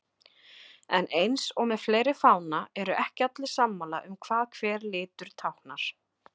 En eins og með fleiri fána eru ekki allir sammála um hvað hver litur táknar.